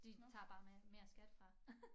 De tager bare mere skat fra